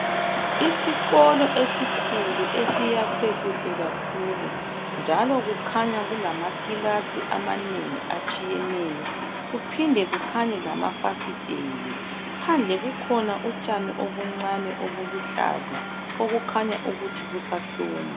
isikolo esikhulu esiyakhwe kuhle kakhulu njalo kukhanya kulamakilasi amanengi atshiyeneyo kuphinde kukhanye lamafasiteli phandle kukhona utshani obuncane obuluhlaza obukhanya ukuthi busahluma